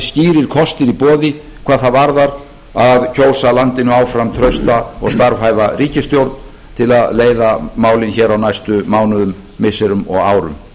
skýrir kostir í boði hvað það varðar að kjósa landinu áfram trausta og starfhæfa ríkisstjórn til að leiða málin á næstu mánuðum missirum og árum